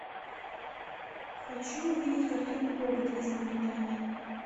хочу увидеть картину коготь из мавритании